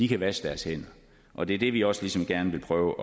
kan vaske deres hænder og det er det vi ligesom også gerne vil prøve